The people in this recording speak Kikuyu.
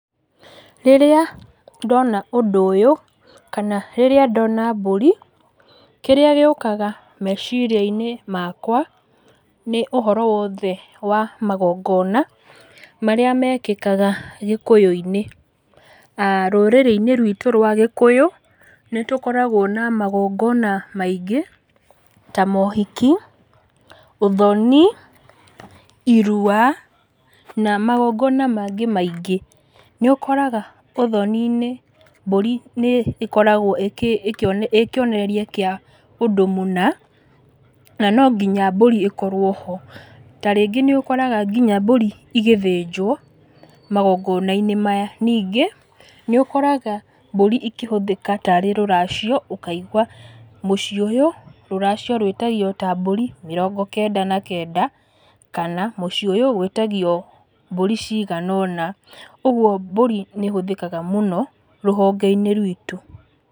Rĩrĩa ndona ũndũ ũyũ, kana rĩrĩa ndona mbũri, kĩrĩa gĩũkaga meciria-inĩ makwa, nĩ ũhoro wothe wa magongona, marĩa mekĩkaga gĩkũyũ-inĩ. Rũrĩrĩ-inĩ rwitũ rwa gĩkũyũ, nĩtũkoragwo na magongona maingĩ, ta mohiki, ũthoni, irua, na magongona mangĩ maingĩ. Nĩũkoraga ũthoni-inĩ mbũri nĩkoragwo ĩkĩ ĩkĩonereria kĩa ũndũ mũna, na nonginya mbũri ĩkorwo ho, ta rĩngĩ nĩũkoraga nginya mbũri igĩthĩnjwo magongona-inĩ maya. Ningĩ, nĩũkoraga mbũri ikĩhũthĩka tarĩ rũracio ũkaigua mũciĩ ũyũ, rũracio rwĩtagio ta mbũri mĩrongo kenda na kenda, kana mũciĩ ũyũ gwĩtagio mbũri cigana ũna. Ũguo mbũri nĩĩhũthĩkaga mũno rũhonge-inĩ rwitũ.